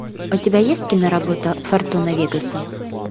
у тебя есть киноработа фортуна вегаса